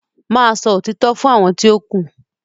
má sọ òtítọ́ fún àwọn ti o ku.